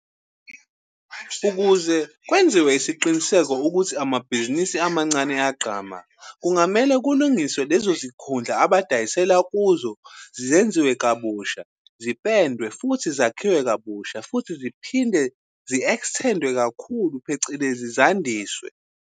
Ukuze kwenziwe isiqiniseko ukuthi amabhizinisi amancane ayagqama, kungamele kulungiswe lezo zikhundla abadayisela kuzo zenziwe kabusha, zipendwe futhi zakhiwe kabusha futhi ziphinde zi-extend-we kakhulu, phecelezi zandiswe.